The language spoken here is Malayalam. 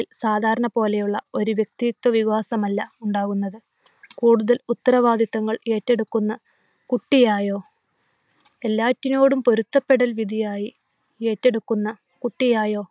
സാധാരണ പോലെയുള്ള ഒരുവ്യക്തിത്വവികാസമല്ല ഉണ്ടാവുന്നത്. കൂടുതൽ ഉത്തരവാദിത്വങ്ങൾ ഏറ്റെടുക്കുന്ന കുട്ടിയായോ, എല്ലാത്തിനോടും പൊരുത്തപ്പെടൽ വിധിയായി ഏറ്റെടുക്കുന്ന കുട്ടിയായോ